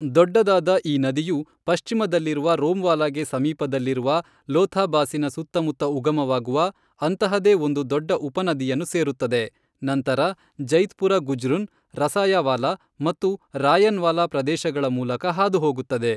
ದೊಡ್ಡದಾದ ಈ ನದಿಯು ಪಶ್ಚಿಮದಲ್ಲಿರುವ ರೋಮ್ವಾಲಾಗೆ ಸಮೀಪದಲ್ಲಿರುವ ಲೋಥಾಬಾಸಿನ ಸುತ್ತಮುತ್ತ ಉಗಮವಾಗುವ ಅಂತಹದೇ ಒಂದು ದೊಡ್ಡ ಉಪನದಿಯನ್ನು ಸೇರುತ್ತದೆ, ನಂತರ ಜೈತ್ಪುರ ಗುಜ್ರುನ್, ರಸಯಾವಾಲಾ ಮತ್ತು ರಾಯನ್ವಾಲಾ ಪ್ರದೇಶಗಳ ಮೂಲಕ ಹಾದುಹೋಗುತ್ತದೆ.